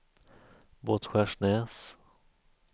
Båtskärsnäs